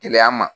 Gɛlɛya ma